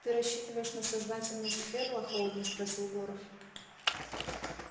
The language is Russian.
ты рассчитываешь на сознательность ферла холодно спросил горов